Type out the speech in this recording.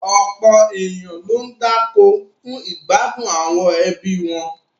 Ọ̀pọ̀ ènìyàn ni ó ń dáko fún ìgbádùn àwọn ẹbí wọn.